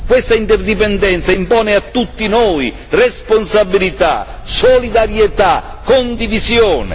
Questa interdipendenza impone a tutti noi responsabilità, solidarietà, condivisione.